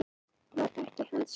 Var það ekki hans hlutverk?